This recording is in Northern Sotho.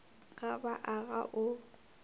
ga ba a ga o